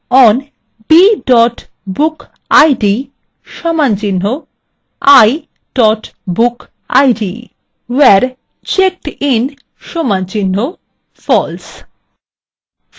on b bookid = i bookid